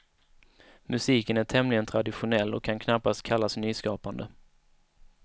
Musiken är tämligen traditionell och kan knappast kallas nyskapande.